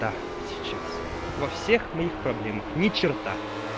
та сейчас во всех моих проблемах ни черта